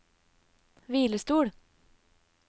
hvilestol